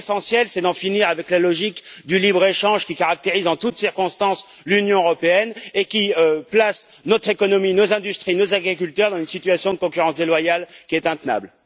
Mais l'essentiel, c'est d'en finir avec la logique du libre échange qui caractérise en toutes circonstances l'Union européenne et qui place notre économie, nos industries et nos agriculteurs dans une situation de concurrence déloyale qui est intenable.